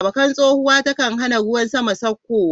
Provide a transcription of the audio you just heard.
Bakkan tsohuwa ta kan hana ruwan sama saukowa.